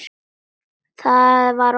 Það var óþarfi.